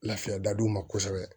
Lafiya dadu ma kosɛbɛ